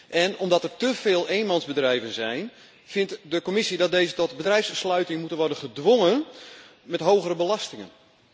En omdat er te veel eenmansbedrijven zijn, vindt de Commissie dat deze tot bedrijfssluiting moeten worden gedwongen met hogere belastingen.